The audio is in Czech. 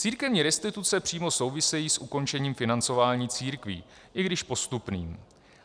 Církevní restituce přímo souvisejí s ukončením financování církví - i když postupným.